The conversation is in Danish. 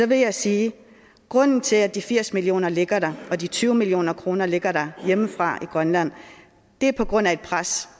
vil jeg sige at grunden til at de firs million kroner ligger der og de tyve million kroner ligger der fra grønland er på grund af et pres